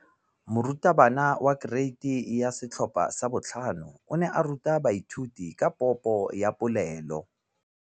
Moratabana wa kereiti ya 5 o ne a ruta baithuti ka popô ya polelô.